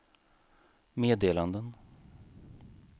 meddelanden